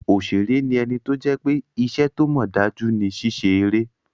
Òṣèré ní ẹni tó jẹ́ pé iṣẹ́ tó mọ̀ dájú ni ṣíṣe eré